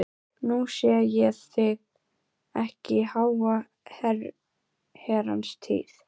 Nú sé ég þig ekki í háa herrans tíð.